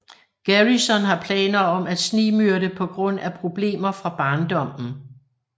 Garrison har planer om at snigmyrde på grund af problemer fra barndommen